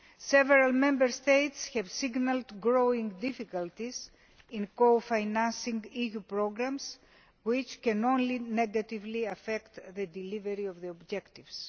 Several Member States have signalled growing difficulties in co financing EU programmes, which can only negatively affect delivery of the objectives.